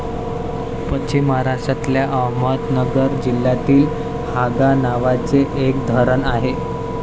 पश्चीम महाराष्ट्रतल्या अहमदनगर जिल्हातील हांगा नावाचे एक धरण आहे.